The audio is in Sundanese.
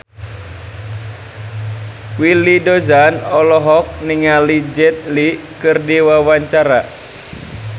Willy Dozan olohok ningali Jet Li keur diwawancara